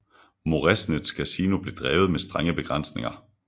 Moresnets kasino blev drevet med strenge begrænsninger